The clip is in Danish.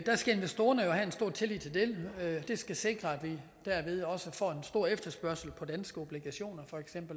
der skal investorerne jo have en stor tillid til dem det skal sikre at vi derved også får en stor efterspørgsel på danske obligationer